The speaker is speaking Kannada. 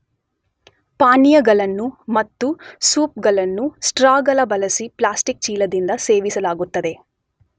ಪಾನೀಯಗಳನ್ನು ಮತ್ತು ಸೂಪ್ ಗಳನ್ನು ಸ್ಟ್ರಾಗಳ ಬಳಸಿ ಪ್ಲ್ಯಾಸ್ಟಿಕ್ ಚೀಲದಿಂದ ಸೇವಿಸಲಾಗುತ್ತದೆ.